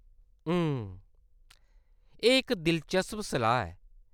हुं.., एह्‌‌ इक दिलचस्प सलाह्‌‌ ऐ।